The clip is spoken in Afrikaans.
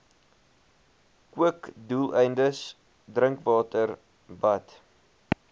kookdoeleindes drinkwater bad